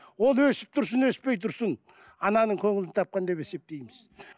ол өсіп тұрсын өспей тұрсын ананың көңілін тапқан деп есептейміз